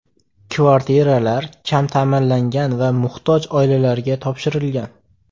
Kvartiralar kam ta’minlangan va muhtoj oilalarga topshirilgan.